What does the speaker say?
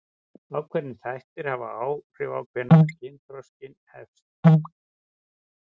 Ákveðnir þættir hafa áhrif á hvenær kynþroski hefst.